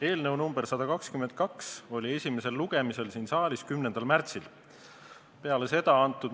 Eelnõu nr 122 oli esimesel lugemisel siin saalis 10. märtsil.